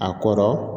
A kɔrɔ